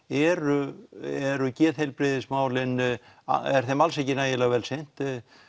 eru eru geðheilbrigðismálin er þeim alls ekki nægilega vel sinnt